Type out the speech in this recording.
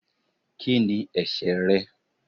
ki ní ẹsẹ re?